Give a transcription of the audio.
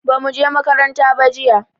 bamu je makaranta ba jiya